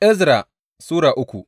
Ezra Sura uku